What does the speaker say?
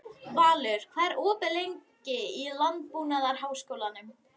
Valur, hvað er opið lengi í Landbúnaðarháskólanum?